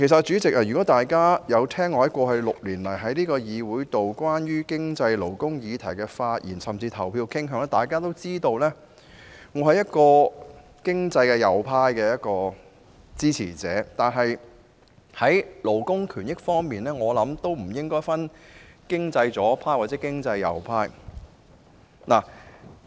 主席，如果大家曾聆聽我過去6年來在這議會內就有關經濟、勞工議題的發言，甚至表決意向，便會知道我是經濟右派的支持者，但就勞工權益的議題而言，則不應分經濟左派或右派。